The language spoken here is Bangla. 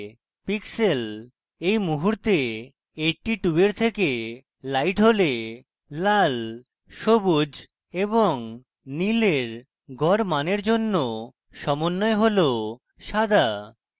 pixel এই মুহূর্তে 82 এর থেকে লাইট হলে লাল সবুজ এবং নীল এর গড় মানের জন্য সমন্বয় হল সাদা